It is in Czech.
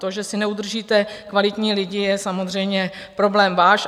To, že si neudržíte kvalitní lidi, je samozřejmě problém váš.